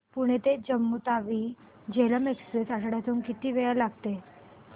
पुणे ते जम्मू तावी झेलम एक्स्प्रेस आठवड्यातून किती वेळा चालते